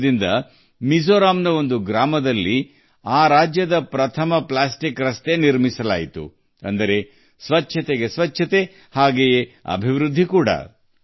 ಅದರಿಂದ ಮಿಜೋರಾಂನ ಹಳ್ಳಿಯೊಂದರಲ್ಲಿ ರಾಜ್ಯದ ಮೊದಲ ಪ್ಲಾಸ್ಟಿಕ್ ರಸ್ತೆಯನ್ನು ನಿರ್ಮಿಸಲಾಯಿತು ಅದು ಸ್ವಚ್ಛತೆ ಮತ್ತು ಅದು ಅಭಿವೃದ್ಧಿಯೂ ಆಗಿದೆ